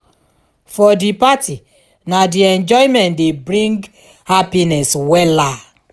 for di party na di enjoyment dey bring hapiness wella